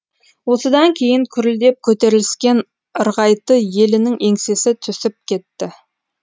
осыдан кейін күрілдеп көтеріліскен ырғайты елінің еңсесі түсіп кетті